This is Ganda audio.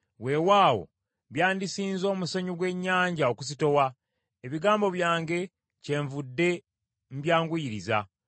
Weewaawo byandisinze omusenyu gw’ennyanja okuzitowa; ebigambo byange kyenvudde mbyanguyiriza.